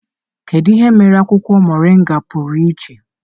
Kedu ihe mere akwụkwọ Mọrịnga pụrụ iche?